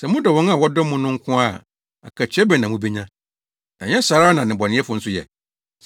Sɛ modɔ wɔn a wɔdɔ mo no nko ara a, akatua bɛn na mubenya? Ɛnyɛ saa ara na nnebɔneyɛfo nso yɛ?